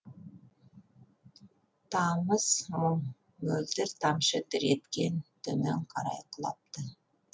тамыз мұң мөлдір тамшы дір еткен төмен қарай құлапты